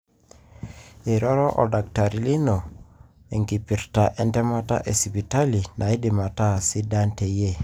eroro oldakitari lino enkipirta entemata esipitali naidim ata sidan teyie.